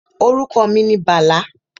Orúkọ mi ni Bàlá